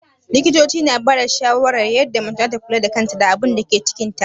Likitoci suna bada shawarwari yadda mace zata kula da kanta da abunda yake cikin ta